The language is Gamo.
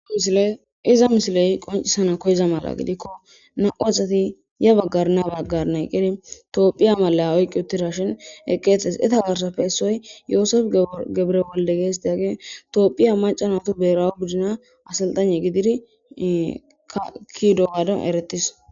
iza misiley qoncisana koyza mala gidikko na7u asati ya baggarna baggarney qqiri toophiya mala oyqqi uttirashin eqqeetes eta garsafe essoy yoosef gebre bolde geestiage toophiya macanatu beerawo gudina asaltane gidiri kakidowaado eretis